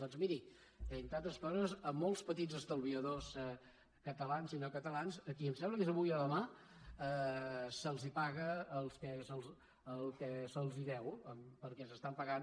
doncs miri entre altres coses a molts petits estalviadors catalans i no catalans a qui em sembla que és avui o demà que se’ls paga el que se’ls deu perquè s’estan pagant